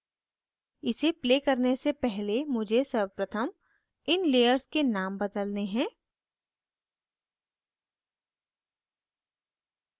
इसे प्ले करने से पहले मुझे सर्वप्रथम इन layers के names बदलने हैं